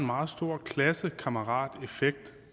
meget stor klassekammerateffekt